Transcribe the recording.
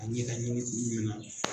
A ɲɛ da ɲi